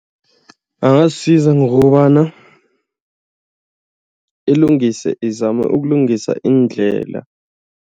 Angazisiza ngokobana ilungise, izame ukulungisa iindlela.